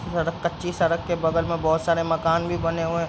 सड़क कच्ची सड़क के बगल में बहोत सारे मकान भी बने हुऐं --